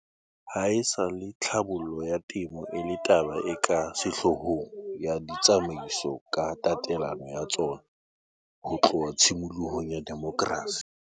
Haesale tlhabollo ya temo e le taba e ka sehlohlolong ya ditsamaiso ka tatelano ya tsona ho tloha tshimolohong ya demokrasi.